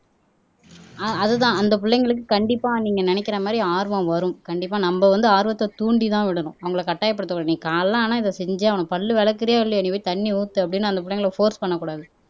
ஆஹ் அதுதான் அந்த பிள்ளைங்களுக்கு கண்டிப்பா நீங்க நினைக்கிற மாதிரி ஆர்வம் வரும் கண்டிப்பா நம்ம வந்து ஆர்வத்தை தூண்டிதான் விடணும் அவங்களை கட்டாயப்படுத்தக்கூடாது நீ காலைல காலையில ஆனா இதை செஞ்சு ஆவனும் பல்லு விளக்குறியோ இல்லையோடி போய் தண்ணி ஊத்து அப்படின்னு அந்த பிள்ளைங்களை போர்ஸ் பண்ணக்கூடாது